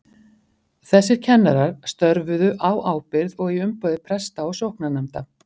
Þessir kennarar störfuðu á ábyrgð og í umboði presta og sóknarnefnda.